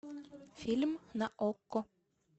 фильм на окко